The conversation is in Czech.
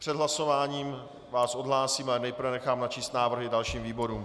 Před hlasováním vás odhlásím, ale nejprve nechám načíst návrhy dalším výborům.